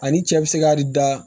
Ani cɛ bi se ka de da